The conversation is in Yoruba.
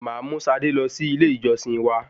Máa mú Sade lọ sí ilé ìjọsìn wa.